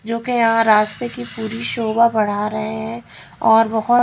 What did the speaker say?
जो कि यहाँ रास्ते की पूरी शोभा बढ़ा रहे हैं और बहोत --